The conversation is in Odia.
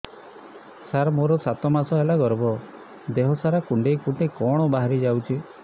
ସାର ମୋର ସାତ ମାସ ହେଲା ଗର୍ଭ ଦେହ ସାରା କୁଂଡେଇ କୁଂଡେଇ କଣ ବାହାରି ଯାଉଛି